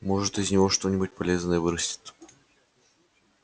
может из него что-нибудь полезное вырастет